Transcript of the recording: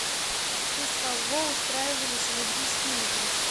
в честь кого устраивались олимпийские игры